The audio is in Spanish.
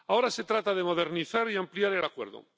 Ahora se trata de modernizar y ampliar el Acuerdo.